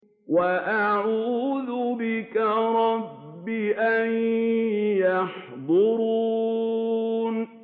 وَأَعُوذُ بِكَ رَبِّ أَن يَحْضُرُونِ